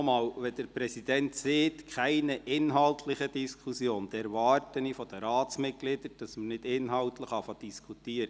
Nochmals: Wenn der Präsident sagt «keine inhaltliche Diskussion», erwarte ich von den Ratsmitgliedern, dass man nicht beginnt, inhaltlich zu diskutieren.